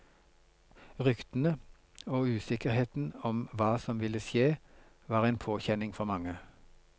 Ryktene og usikkerheten omhva som ville skje, var en påkjenning for mange.